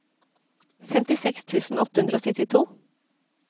femtiseks tusen åtte hundre og syttito